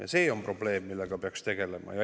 Ja see on probleem, millega peaks tegelema.